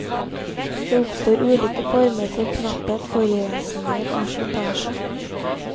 Det oppstår ulike former for knapphet, forurensninger og slitasje.